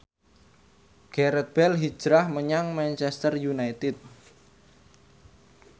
Gareth Bale hijrah menyang Manchester united